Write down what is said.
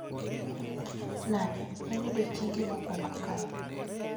Nade/En odiechiengi mokwongo kae